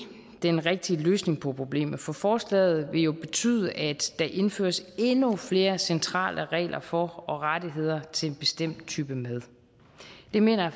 den rigtige løsning på problemet for forslaget vil jo betyde at der indføres endnu flere centrale regler for og rettigheder til en bestemt type mad det mener jeg